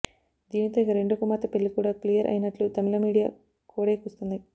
దీనితో ఇక రెండో కుమార్తె పెళ్లి కూడా క్లియర్ అయినట్లు తమిళ మీడియా కోడై కూస్తోంది